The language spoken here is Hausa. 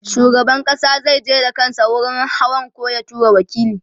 shugaban ƙasa zai je da kansa wurin hawan koh ya tura waƙili